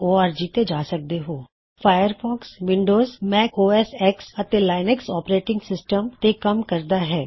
Firefox Windows Mac O S X Mac OS X ਅਤੇ Linux operating system ਤੇ ਕੱਮ ਕਰਦਾ ਹੈ